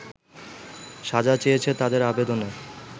সাজা চেয়েছে তাদের আবেদনে